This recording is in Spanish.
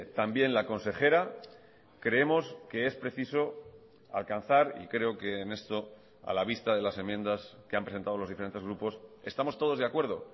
también la consejera creemos que es preciso alcanzar y creo que en esto a la vista de las enmiendas que han presentado los diferentes grupos estamos todos de acuerdo